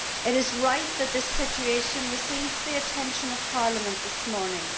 It is right that the situation receives the attention of Parliament this morning.